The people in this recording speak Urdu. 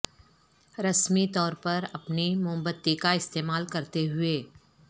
رسمی طور پر اپنی موم بتی کا استعمال کرتے ہوئے